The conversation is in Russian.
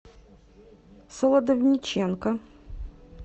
солодовниченко